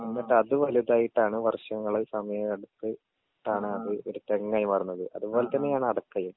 എന്നിട്ടത് വലുതായിട്ടാണ് വര്ഷങ്ങള് സമയെടുതിട്ടാണ് അത് ഒരു തെങ്ങായി മാറുന്നത് അത് പോലെ തന്നെയാണ് അടക്കയും.